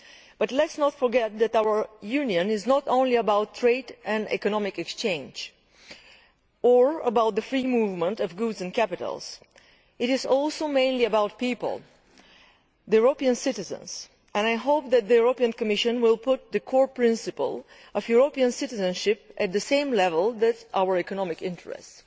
But let us not forget that our Union is not only about trade and economic exchange or about the free movement of goods and capital. It is also and mainly about people about the citizens of Europe and I hope that the Commission will put the core principle of European citizenship on the same level as our economic interests.